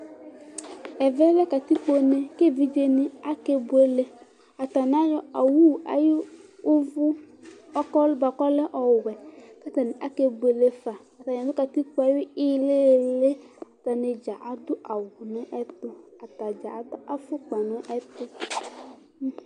ɛmɛ lɛ awu ayʊ une, kʊ evidzenɩ akebuele, atanɩ ayɔ owu ayʊ taya, kʊ akebuele fa, , atanɩ ya nʊ une yɛ ɩɩlɩ, atanidza adʊ awu, kʊ atanɩ adʊ ɛlɛnuti